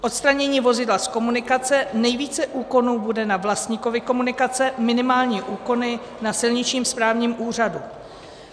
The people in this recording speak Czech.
Odstranění vozidla z komunikace, nejvíce úkonů bude na vlastníkovi komunikace, minimální úkony na silničním správním úřadu.